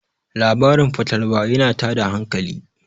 labarin fatalwa yana tada hankali